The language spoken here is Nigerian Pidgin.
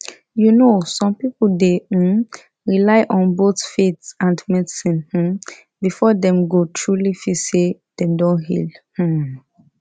you know some people dey um rely on both faith and medicine um before dem go truly feel say dem don heal um